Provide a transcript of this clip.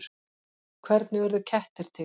Hvernig urðu kettir til?